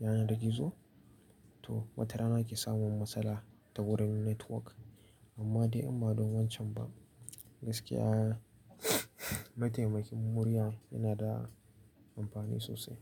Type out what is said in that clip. yanar gizo to wata rana ke samun matsala ta wurin network. Amma dai amma don wancan ba gaskiya mataimakin murya yana da amfani sosai.